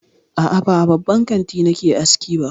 A'a, ba a babban kanti nake aski ba.